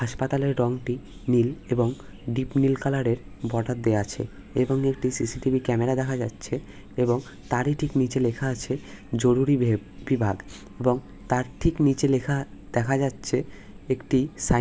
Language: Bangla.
হাসপাতালের রং টি নীল এবং ডিপ নীল কালার এর বর্ডার দেওয়া আছে এবং একটি সি.সি. টি.ভি. ক্যামেরা দেখা যাচ্ছে এবং তারই ঠিক নিচে লেখা আছে জরুরি ভেপ বিভাগ এবং তার ঠিক নিচে লেখা দেখা যাচ্ছে একটি সা --